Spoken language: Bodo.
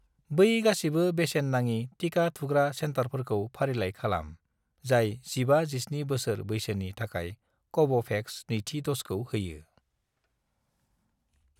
बै गासिबो बेसेन नाङि टिका थुग्रा सेन्टारफोरखौ फारिलाइ खालाम, जाय 15 -17 बोसोर बैसोनि थाखाय कव'भेक्सनि नैथि द'जखौ होयो।